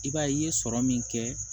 I b'a ye i ye sɔrɔ min kɛ